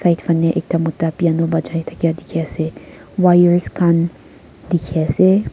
etu faneh ekta mota piano bajia dakia diki ase wires kan diki ase.